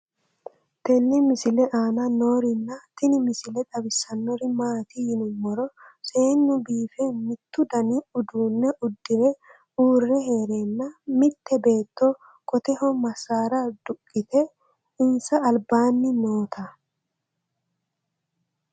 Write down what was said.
tenne misile aana noorina tini misile xawissannori maati yinummoro seennu biiffe mittu danni uudunne udirre uure heerenna mitte beetto qotteho masaara duqiitte insa alibaanni nootta